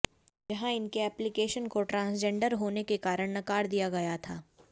जहां इनके अप्लीकेशन को ट्रांसजेंडर होने के कारण नकार दिया गया था